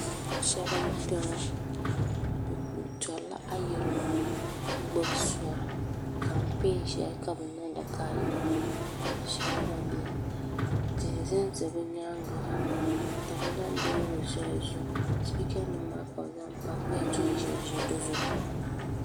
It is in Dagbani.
salo m bala be turila ayirimo ka gbabi sori ka pɛni shɛli ka be niŋda ka ayirimo tihi ʒɛ za be nyɛŋa be tamila lori shɛli zuɣ' sipikanima maa ka be zaŋ pa ka do n ʒɛʒɛ si zuɣ'